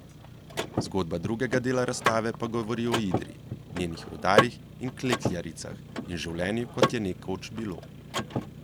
Zgodba drugega dela razstave pa govori o Idriji, njenih rudarjih in klekljaricah in življenju, kot je nekoč bilo.